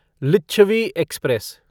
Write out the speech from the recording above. Licchavi express